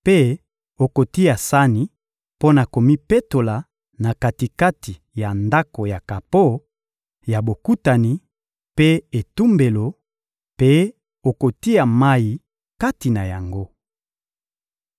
mpe okotia sani mpo na komipetola na kati-kati ya Ndako ya kapo ya Bokutani mpe etumbelo, mpe okotia mayi kati na yango.